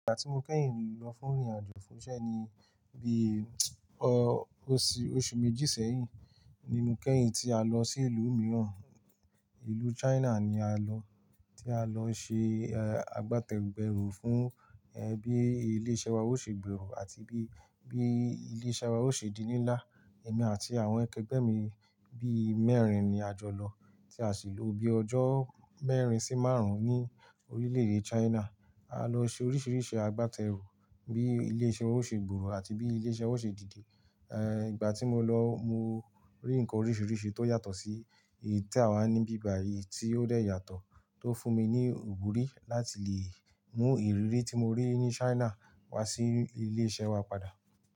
Ìgbà tí mo kẹ́yìn lọ fún ìrìnàjò fún iṣẹ́ ni bí oṣù méjì sẹ́yìn ni mo kẹ́yìn tí a lọ sí ìlú mìíràn, ìlú China ni a lọ. Tí a lọ ṣe, àgbátẹgùn ẹrù fún bí ilé ìṣe wa ó ṣe gbèrò àti bí ilé ìṣe wa ó ṣe di nílà. Èmi àti àwọn akẹgbẹ́ mi bí mẹ́rin ni a jọ lọ tí a sì lò bí ọjọ́ mẹ́rin sí márùn-ún ní orílẹ̀-èdè China. A lọ ṣe oríṣiríṣi àgbátẹrù bí ilé ìṣe ó ṣe gbòòrò àti bí ilé ìṣe ó ṣe dìde. Ìgbà tí mo lọ mo rí nǹkan oríṣiríṣi tó yàtọ̀ sí èyí tí àwa ní bíbà yìí tí ó dé yàtọ̀ tó fún mi ní ìwúrí láti lè mú ìrírí tí mo rí ní China wá sí ilé ìṣe wa padà.